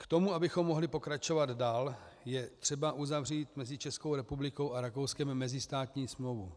K tomu, abychom mohli pokračovat dál, je třeba uzavřít mezi Českou republikou a Rakouskem mezistátní smlouvu.